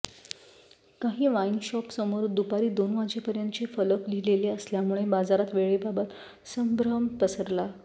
काही वाइन शॉपसमोर दुपारी दोन वाजेपर्यंतचे फलक लिहिलेले असल्यामुळे बाजारात वेळेबाबत संभ्रम पसरला